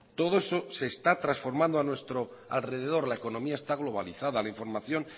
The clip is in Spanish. todo eso se está transformando a nuestro alrededor la economía está globalizada la información